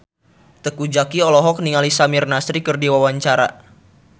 Teuku Zacky olohok ningali Samir Nasri keur diwawancara